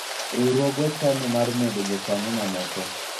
riwruogwa chano mar medo jokanyo mamoko